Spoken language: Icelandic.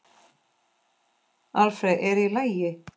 Alfreð, er í lagi?